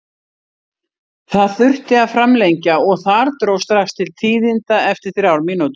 Það þurfti að framlengja og þar dró strax til tíðinda eftir þrjár mínútur.